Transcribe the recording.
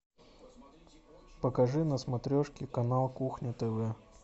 покажи на смотрешке канал кухня тв